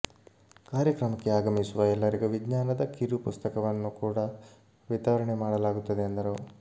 ಕಾರ್ಯಕ್ರಮಕ್ಕೆ ಆಗಮಿಸುವ ಎಲ್ಲರಿಗೂ ವಿಜ್ಞಾನದ ಕಿರು ಪುಸ್ತಕವನ್ನು ಕೂಡ ವಿತರಣೆ ಮಾಡಲಾಗುತ್ತದೆ ಎಂದರು